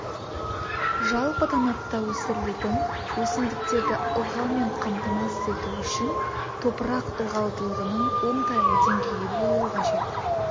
жалпы танапта өсірілетін өсімдіктерді ылғалмен қамтамасыз ету үшін топырақ ылғалдылығының оңтайлы деңгейі болу қажет